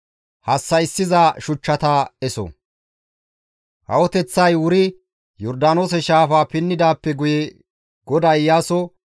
Kawoteththay wuri Yordaanoose shaafaa pinnidaappe guye GODAY Iyaaso,